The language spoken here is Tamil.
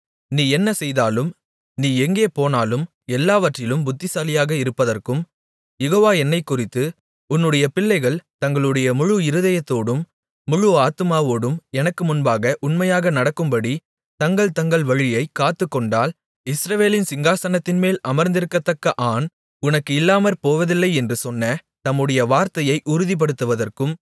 நீ என்ன செய்தாலும் நீ எங்கே போனாலும் எல்லாவற்றிலும் புத்திசாலியாக இருப்பதற்கும் யெகோவா என்னைக் குறித்து உன்னுடைய பிள்ளைகள் தங்களுடைய முழு இதயத்தோடும் முழு ஆத்துமாவோடும் எனக்கு முன்பாக உண்மையாக நடக்கும்படித் தங்கள் தங்கள் வழியைக் காத்துக்கொண்டால் இஸ்ரவேலின் சிங்காசனத்தின்மேல் அமர்ந்திருக்கத்தக்க ஆண் உனக்கு இல்லாமற்போவதில்லை என்று சொன்ன தம்முடைய வார்த்தையை உறுதிப்படுத்துவதற்கும்